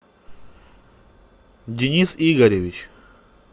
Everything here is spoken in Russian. денис игоревич